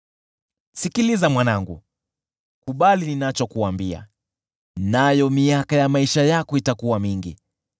Sikiliza mwanangu, kubali ninachokuambia, nayo miaka ya maisha yako itakuwa mingi.